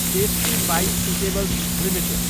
tasty bite eatables Ltd